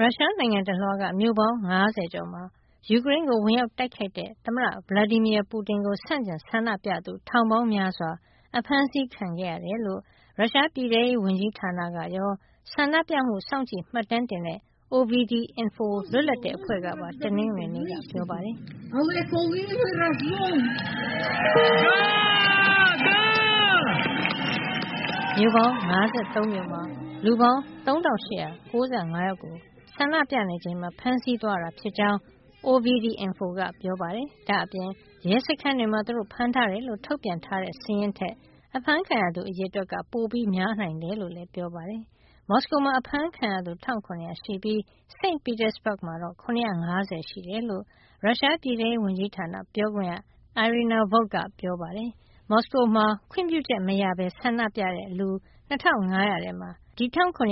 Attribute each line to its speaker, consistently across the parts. Speaker 1: ရုရှားနိုင်ငံတလွှားက မြို့ပေါင်း ၅၀ ကျော်မှာ ယူကရိန်းကို ဝင်ရောက်တိုက်ခိုက်တဲ့ သမ္မတ Vladimir Putin ကို ဆန့်ကျင်ဆန္ဒပြသူ ထောင်ပေါင်းများစွာ အဖမ်းဆီးခံရတယ်လို့ ရုရှားပြည်ထဲရေးဝန်ကြီးဌာနကရော ဆန္ဒပြမှု စောင့်ကြည့်မှတ်တမ်းတင်တဲ့ OVD-Info လွတ်လပ်တဲ့အဖွဲ့ကပါ တနင်္ဂနွေနေ့က ပြောပါတယ်။ မြို့ပေါင်း ၅၃ မြို့မှာ လူပေါင်း ၃,၈၉၅ ယောက်ကို ဆန္ဒပြနေချိန်မှာ ဖမ်းဆီးသွားတာ ဖြစ်ကြောင်း OVD-Info က ပြောပါတယ်။ ဒါ့အပြင် ရဲစခန်းတွေမှာ သူတို့ဖမ်းထားတယ်လို့ ထုတ်ပြန်ထားတဲ့ စာရင်းထက် အဖမ်းခံရသူ အရေအတွက်က ပိုများနိုင်တယ်လို့လည်း ပြောပါတယ်။ မော်စကိုမှာ အဖမ်းခံရသူ ၁,၇၀၀ ရှိပြီး St. Petersburg မှာတော့ ၇၅၀ ရှိတယ်လို့ ရုရှားပြည်ထဲရေးဝန်ကြီးဌာန ပြောခွင့်ရ Irina Volk က ပြောပါတယ်။ မော်စကိုမှာ ခွင့်ပြုချက်မရဘဲ ဆန္ဒပြတဲ့လူ ၂,၅၀၀ ထဲမှာ ၁,၇၀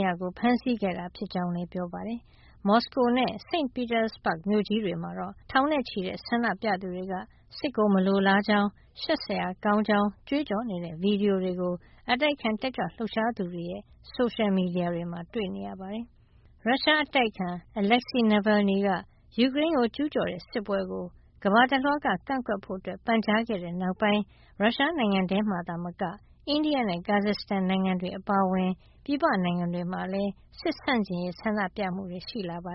Speaker 1: ၀ ကို ဖမ်းဆီးခဲ့တာ ဖြစ်ကြောင်းလည်း ပြောပါတယ်။ မော်စကိုနဲ့ St. Petersburg မြို့ကြီးတွေမှာတော့ ထောင်နဲ့ချီတဲ့ ဆန္ဒပြသူတွေက စစ်ကို မလိုလားကြောင်း၊ ရှက်စရာကောင်းကြောင်း ကြွေးကြော်နေတဲ့ ဗွီဒီယိုတွေကို အတိုက်အခံ တက်ကြွလှုပ်ရှားသူတွေရဲ့ ဆိုရှယ်မီဒီယာတွေမှာ တွေ့နေရပါတယ်။ ရုရှားအတိုက်အခံ Aleksei Navalny က ယူကရိန်းကို ကျူးကျော်တဲ့ စစ်ပွဲကို ကမ္ဘာတလွှားက ကန့်ကွက်ဖို့ ပန်ကြားခဲ့တဲ့နောက်ပိုင်း ရုရှားနိုင်ငံထဲမှာသာမက အိန္ဒိယနဲ့ ကာဇက်စတန်နိုင်ငံတွေ အပါအဝင် ပြည်ပနိုင်ငံတွေမှာလည်း စစ်ဆန့်ကျင်ရေး ဆန္ဒပြမှုတွေ ရှိနေတာပါ